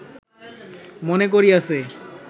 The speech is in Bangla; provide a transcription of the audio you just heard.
মনে করিয়াছে